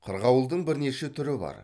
қырғауылдың бірнеше түрі бар